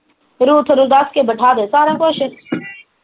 Ruth ਨੂੰ ਦੱਸ ਕੇ ਬਿਠਾ ਦੇ ਸਾਰਾ ਕੁਸ਼